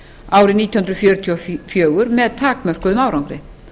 árið nítján hundruð fjörutíu og fjögur með takmörkuðum árangri